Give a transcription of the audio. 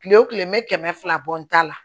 Kile wo kile me kɛmɛ fila bɔ n ta la